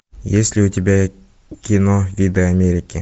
есть ли у тебя кино виды америки